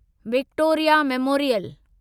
Victoria memorial